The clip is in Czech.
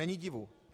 Není divu.